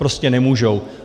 Prostě nemůžou.